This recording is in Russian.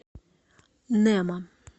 немо